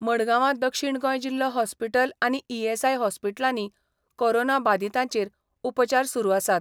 मडगांवां दक्षीण गोंय जिल्हो हॉस्पिटल आनी ईएसआय हॉस्पिटलांनी कोरोना बादितांचेर उपचार सुरू आसात.